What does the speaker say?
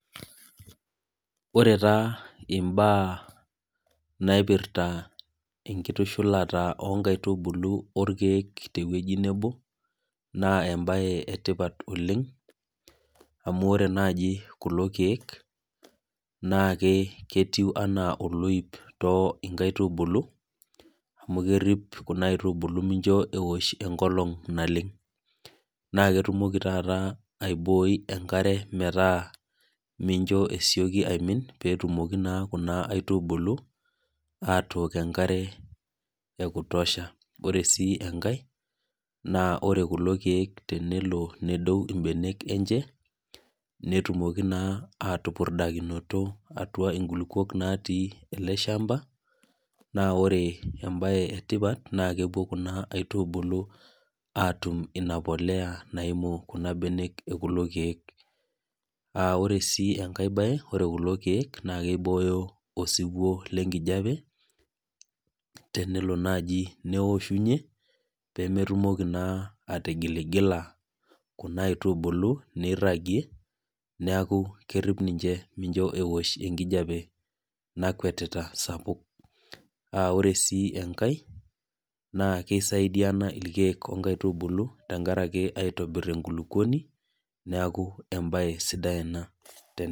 Ore taa imbaa naipirta enkitushulata oo nkaitubulu o ilkeek te ewueji nabo, naa embaye etipat oleng' amu ore naaji kulo keek, naake ketiu anaa oloip too inkaitubulu, amu kerip kuna kaitubulu mincho eosh enkolong' naleng'. Naake etumoki taata aiboi enkare metaa mincho esioki aimin pee etumoki naa kuna aitubulu atook enkare e kutosha. Ore sii enkai naa ore kulo keek tenelo nedou imbenek enche, netumoki naa atupurdakinoto inkulukuok naa natii ele shamba, naa ore embaye e tipat naake epuo kuna aitubulu atum ina polea, naimu kuna benek e kulo keek. Ore sii enkai baye naa keibooyo osiwuo lenkijape, tenelo naaji neoshunye, peemetumoki naa atigiligila kuna aitubulu neiragie, neaku kerip ninche pee meosh enkijape nakwetita sapuk. Ore sii enkai na keisaidiana ilkeek o inkaitubulu, tenkaraki aitobir enkulukuoni, neaku embaye sidai ena tene.